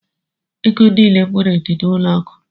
Ego niile m nwere dị n'ụlọ akụ.